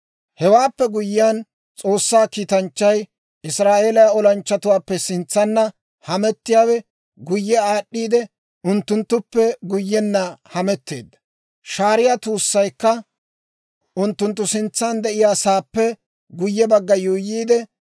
Hewaappe guyyiyaan S'oossaa kiitanchchay, Israa'eeliyaa olanchchatuwaappe sintsanna hamettiyaawe, guyye aad'd'iide unttunttuppe guyyenna hametteedda. Shaariyaa tuussaykka unttunttu sintsaan de'iyaa sa'aappe guyye bagga yuuyyiide,